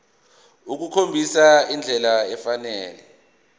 ukukhombisa indlela efanele